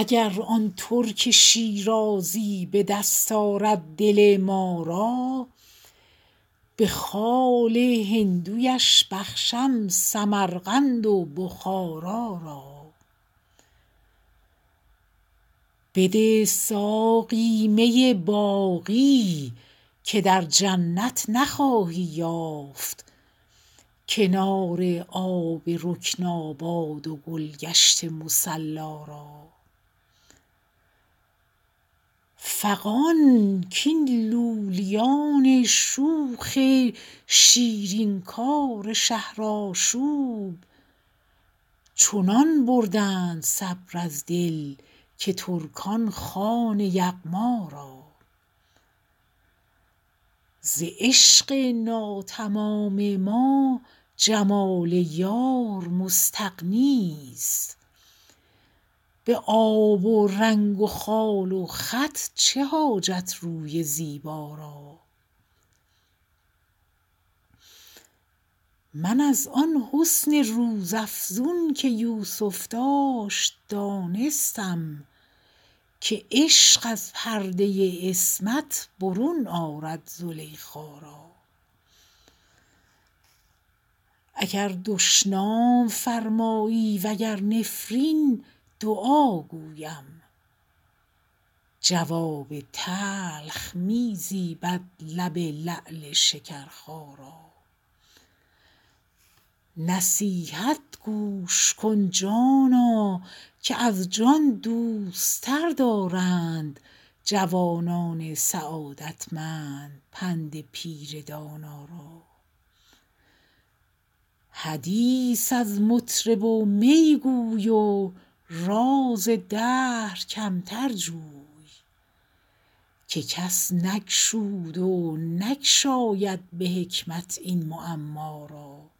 اگر آن ترک شیرازی به دست آرد دل ما را به خال هندویش بخشم سمرقند و بخارا را بده ساقی می باقی که در جنت نخواهی یافت کنار آب رکناباد و گل گشت مصلا را فغان کاین لولیان شوخ شیرین کار شهرآشوب چنان بردند صبر از دل که ترکان خوان یغما را ز عشق ناتمام ما جمال یار مستغنی است به آب و رنگ و خال و خط چه حاجت روی زیبا را من از آن حسن روزافزون که یوسف داشت دانستم که عشق از پرده عصمت برون آرد زلیخا را اگر دشنام فرمایی و گر نفرین دعا گویم جواب تلخ می زیبد لب لعل شکرخا را نصیحت گوش کن جانا که از جان دوست تر دارند جوانان سعادتمند پند پیر دانا را حدیث از مطرب و می گو و راز دهر کمتر جو که کس نگشود و نگشاید به حکمت این معما را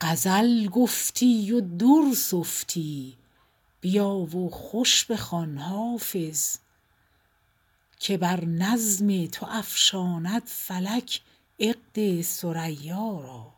غزل گفتی و در سفتی بیا و خوش بخوان حافظ که بر نظم تو افشاند فلک عقد ثریا را